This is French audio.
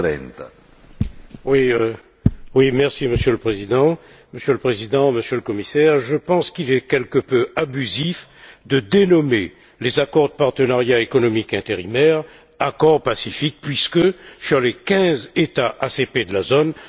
Monsieur le Président, Monsieur le Commissaire, je pense qu'il est quelque peu abusif de dénommer les accords de partenariat économique intérimaires accords Pacifique, puisque, sur les quinze États ACP de la zone, seuls deux d'entre eux sont signataires.